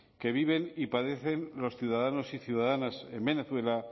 que viven y padecen los ciudadanos y ciudadanas en venezuela